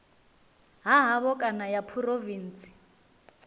ha havho kana ya phurovintsi